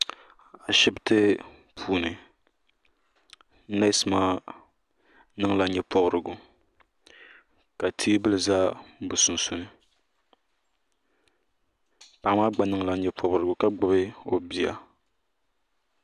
ashibiti puuni nees maa niŋla nyɛ pobirigu ka teebuli ʒɛ bi sunsuuni paɣa maa gba niŋla nyɛ pobirigu ka gbubi o bia